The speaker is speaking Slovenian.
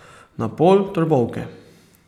Na pol Trbovke.